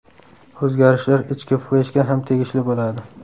O‘zgarishlar ichki fleshga ham tegishli bo‘ladi.